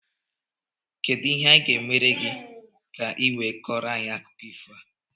Kedụ ihe anyị gá emere gị, ka i wee Koro anyị akụkọ ifo a?